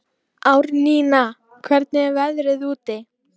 Árnína, hvernig er veðrið úti?